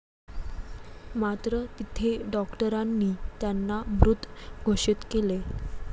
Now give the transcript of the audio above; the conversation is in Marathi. मात्र, तिथे डॉक्टरांनी त्यांना मृत घोषित केले.